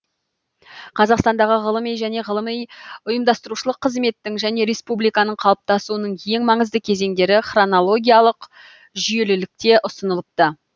қазақстандағы ғылыми және ғылыми ұйымдастырушылық қызметтің және республиканың қалыптасуының ең маңызды кезеңдері хронологиялық жүйелілікте ұсынылыпты